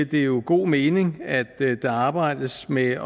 det jo god mening at der arbejdes med